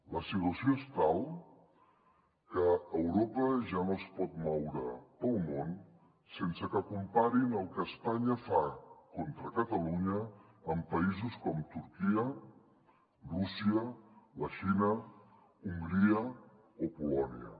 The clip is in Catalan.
la situació és tal que europa ja no es pot moure pel món sense que comparin el que espanya fa contra catalunya amb països com turquia rússia la xina hongria o polònia